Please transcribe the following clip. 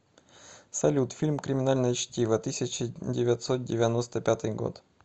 салют фильм криминальное чтиво тысяча девятьсот девяносто пятый год